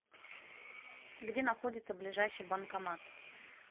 где находится ближайший банкомат